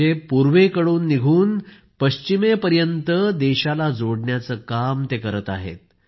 म्हणजे पूर्वेक़डून निघून पश्चिमेपर्यंत देशाला जोडण्याचं काम करत आहेत